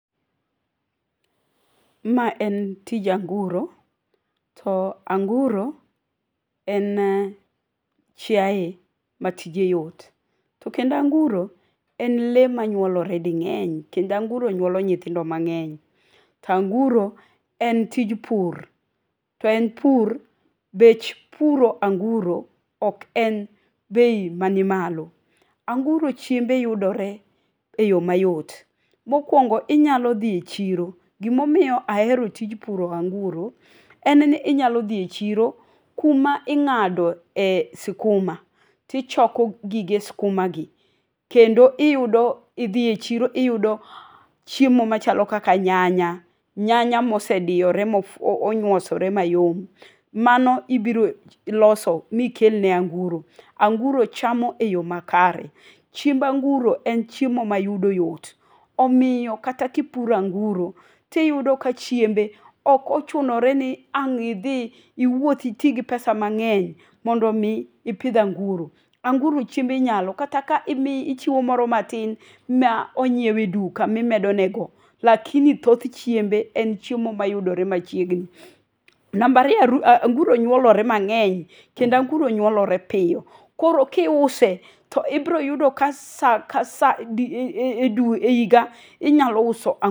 Mae en tij anguro, to anguro en chiaye matije yot, to kendo anguro en le manyuolore ding'eny kendo anguro nyuolo nyithindo mang'eny. To anguro en tij pur to en pur bech puro anguro ok en bei ma nimalo. Anguro chiembe yudore e yo mayot. Bokuongo inyalo dhi e chiro, gimomiyo ahero tij puro anguro, en ni inyalo dhi e chiro kuma ing'ado e sikuma tichoko gige skuma gi kendo iyudo idhi e chiro iyudo chiemo machalo kaka nyanya, nyanya mosediore monywosore mayom. Mano ibiro loso mikel ne anguro. Anguro chamo e yo makare. Chiemb anguro en chiemo ma yudo yot, omiyo kata ka ipuro anguro, tiyudo ka chiembe ok ochunore ni ang' idhi iwuoth iti gi pesa mang'eny mondo mi ipidh anguro. Anguro chiembe nyalo kata ka ichiwo moro matin ma onyieu e duka imedo nego, lakini thoth chiembe en chiemo mayudore machiegni. Namba ariyo aru anguro nyuolore mang'eny, kendo anguro nyuolore piyo, koro ka iuse to ibro yudo ka sa ka sa edi e edwe e higa inyalo uso anguro.